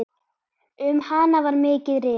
Um hana var mikið rifist.